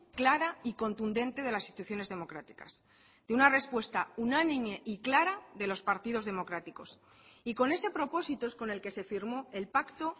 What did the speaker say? clara y contundente de las instituciones democráticas de una respuesta unánime y clara de los partidos democráticos y con ese propósito es con el que se firmó el pacto